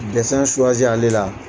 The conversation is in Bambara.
Dɛsɛn suwasi ale la